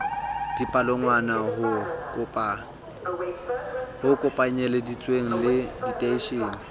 dipalangwang ho kopanyelleditswe le diteishene